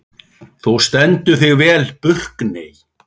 Þú stendur þig vel, Burkney!